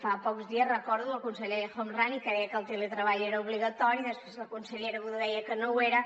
fa pocs dies recordo el conseller el homrani que deia que el teletreball era obligatori després la consellera budó deia que no ho era